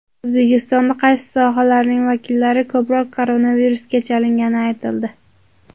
O‘zbekistonda qaysi sohalarning vakillari ko‘proq koronavirusga chalingani aytildi.